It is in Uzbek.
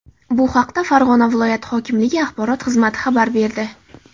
Bu haqda Farg‘ona viloyati hokimligi axborot xizmati xabar berdi .